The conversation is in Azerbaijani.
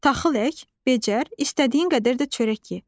Taxıl ək, becər, istədiyin qədər də çörək ye.